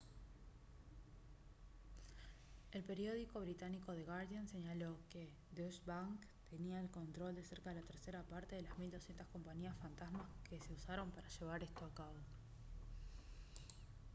el periódico británico the guardian señaló que deutsche bank tenía el control de cerca de la tercera parte de las 1200 compañías fantasma que se usaron para llevar esto a cabo